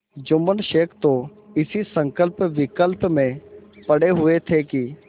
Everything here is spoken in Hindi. जुम्मन शेख तो इसी संकल्पविकल्प में पड़े हुए थे कि